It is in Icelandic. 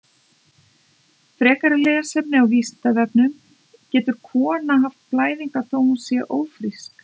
Frekara lesefni á Vísindavefnum: Getur kona haft blæðingar þó að hún sé ófrísk?